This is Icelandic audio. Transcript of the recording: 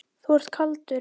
Þú ert kaldur!